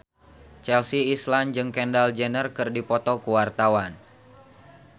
Chelsea Islan jeung Kendall Jenner keur dipoto ku wartawan